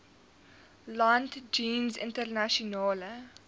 land jeens internasionale